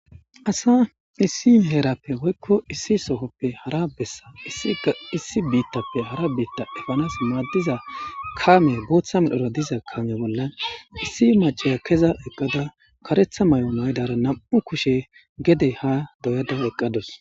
asa issi heerappe woykko issi sohoppe hara bessa issi biittappe hara biitta efanas maaddiza kaame booththa milhora diza kaame bollan issi macaya keza eqqada karetha may7o maydara nam7u kushe gede ha doyada eqqados